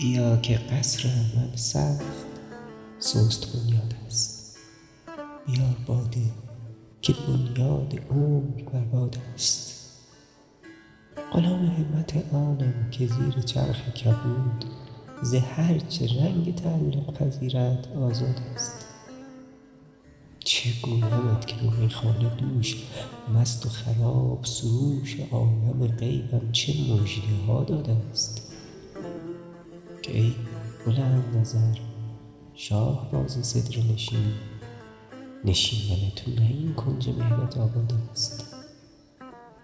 بیا که قصر امل سخت سست بنیادست بیار باده که بنیاد عمر بر بادست غلام همت آنم که زیر چرخ کبود ز هر چه رنگ تعلق پذیرد آزادست چه گویمت که به میخانه دوش مست و خراب سروش عالم غیبم چه مژده ها دادست که ای بلندنظر شاهباز سدره نشین نشیمن تو نه این کنج محنت آبادست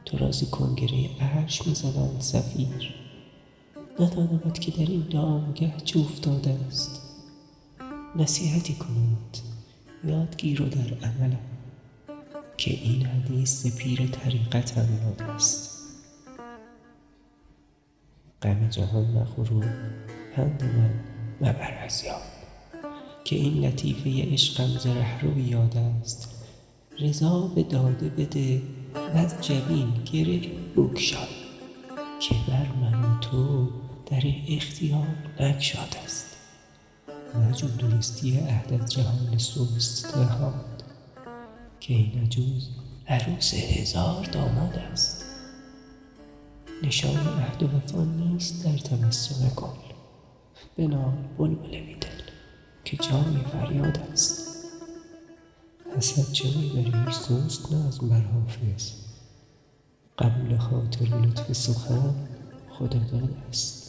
تو را ز کنگره عرش می زنند صفیر ندانمت که در این دامگه چه افتادست نصیحتی کنمت یاد گیر و در عمل آر که این حدیث ز پیر طریقتم یادست غم جهان مخور و پند من مبر از یاد که این لطیفه عشقم ز رهروی یادست رضا به داده بده وز جبین گره بگشای که بر من و تو در اختیار نگشادست مجو درستی عهد از جهان سست نهاد که این عجوز عروس هزاردامادست نشان عهد و وفا نیست در تبسم گل بنال بلبل بی دل که جای فریادست حسد چه می بری ای سست نظم بر حافظ قبول خاطر و لطف سخن خدادادست